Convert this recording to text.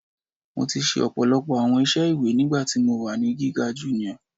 Mo ti ṣe ọpọlọpọ awọn iṣẹ iwe nigbati mo wa ni giga junior